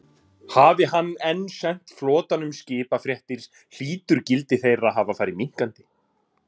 Hafi hann enn sent flotanum skipafréttir, hlýtur gildi þeirra að hafa farið minnkandi.